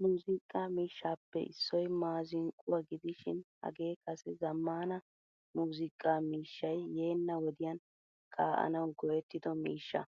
Muuzziqa miishshappe issoy maazinqquwaa gidishin hagee kase zamaana muuzziqqa miishshay yeena wodiyan ka'anawu go'ettido miishshaa.